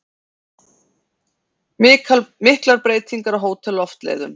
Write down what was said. Miklar breytingar á Hótel Loftleiðum